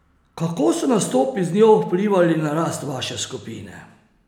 Kako so nastopi z njo vplivali na rast vaše skupine?